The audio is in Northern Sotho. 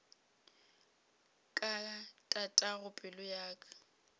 ka tatago pelo ya ka